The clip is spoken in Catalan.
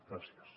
gràcies